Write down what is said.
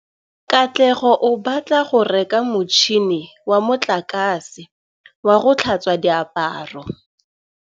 Katlego o batla go reka motšhine wa motlakase wa go tlhatswa diaparo.